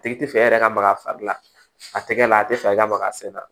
Tigi tɛ fɛ e yɛrɛ ka maga a fari la a tɛgɛ la a tɛ fɛ i ka maga a sɛgɛn na